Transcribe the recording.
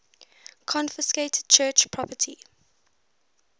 confiscated church property